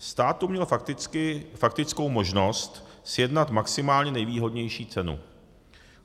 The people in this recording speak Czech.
Stát tu měl faktickou možnost sjednat maximálně nejvýhodnější cenu.